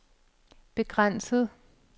begrænset